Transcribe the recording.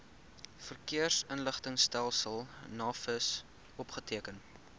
verkeersinligtingstelsel navis opgeteken